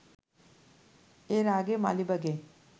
এর আগে মালিবাগে